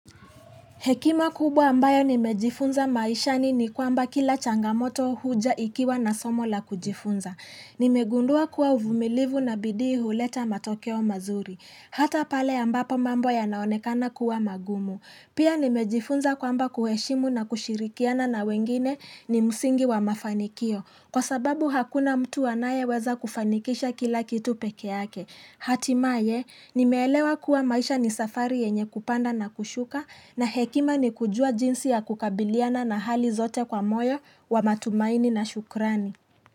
Hekima kubwa ambayo nimejifunza maishani ni kwamba kila changamoto huja ikiwa na somo la kujifunza. Nimegundua kuwa uvumilivu na bidii huleta matokeo mazuri. Hata pale ambapo mambo yanaonekana kuwa magumu. Pia nimejifunza kwamba kuheshimu na kushirikiana na wengine ni msingi wa mafanikio. Kwa sababu hakuna mtu anayeweza kufanikisha kila kitu pekeyake. Hatimaye nimeelewa kuwa maisha ni safari yenye kupanda na kushuka na hekima ni kujua jinsi ya kukabiliana na hali zote kwa moyo wa matumaini na shukrani.